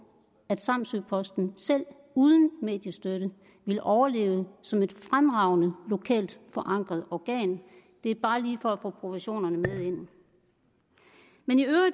at samsø posten selv uden mediestøtte vil overleve som et fremragende lokalt forankret organ det er bare lige for at få proportionerne med ind